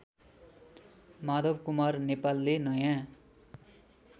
माधवकुमार नेपालले नयाँ